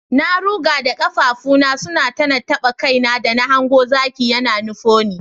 Na ruga da kafafuna suna tana taba kaina da na hango zaki ya nufo ni.